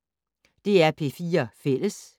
DR P4 Fælles